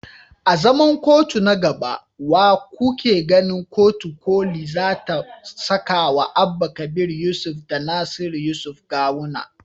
A zaman kotu na gaba, wa kuke ganin kotun koli za ta sakawa Abba kabir yusuf da Nasiru yusuf Gawuna.